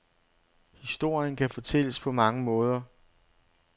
Historien kan fortælles på mange måder.